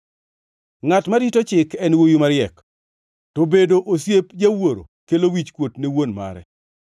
Ngʼat marito chik en wuowi mariek, to bedo osiep jawuoro kelo wichkuot ne wuon mare.